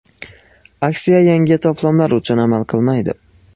Aksiya yangi to‘plamlar uchun amal qilmaydi.